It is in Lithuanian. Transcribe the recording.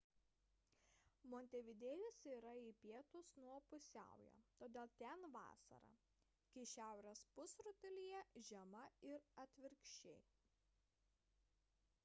montevidėjas yra į pietus nuo pusiaujo todėl ten vasara kai šiaurės pusrutulyje žiema ir atvirkščiai